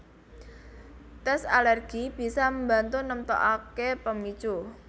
Tes alergi bisa mbantu nemtokake pemicu